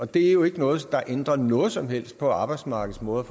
det er jo ikke noget der ændrer noget som helst på arbejdsmarkedets måde